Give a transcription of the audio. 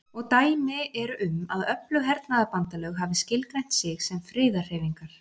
Og dæmi eru um að öflug hernaðarbandalög hafi skilgreint sig sem friðarhreyfingar.